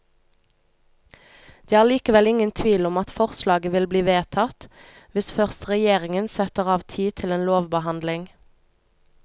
Det er likevel ingen tvil om at forslaget vil bli vedtatt, hvis først regjeringen setter av tid til en lovbehandling.